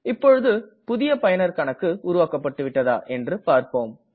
இப்பொழுது புதிய பயனர் கணக்கு உருவாக்கப்பட்டுவிட்டதா என்று பார்ப்போம்